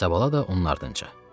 İsabala da onun ardınca.